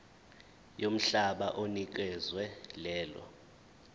yomhlaba onikezwe lelo